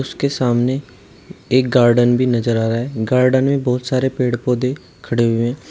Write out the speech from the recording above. उसके सामने एक गार्डन भी नजर आ रहा है गार्डन में बहुत सारे पेड़ पौधे खड़े हुए हैं।